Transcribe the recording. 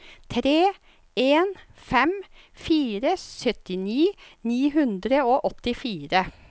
tre en fem fire syttini ni hundre og åttifire